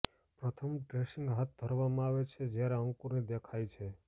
પ્રથમ ડ્રેસિંગ હાથ ધરવામાં આવે છે જ્યારે અંકુરની દેખાય છે